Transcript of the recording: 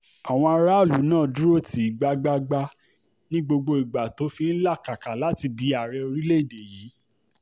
àwọn aráàlú náà ló dúró tì í gbágbáágbá ní gbogbo ìgbà tó fi ń làkàkà láti di ààrẹ orílẹ̀‐èdè yìí